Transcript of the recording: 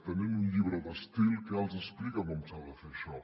tenen un llibre d’estil que els explica com s’ha de fer això